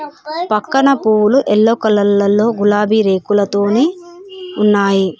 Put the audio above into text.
పక్కన పూలు yellow colour లలో గులాబీ రేకులతోని ఉన్నాయి.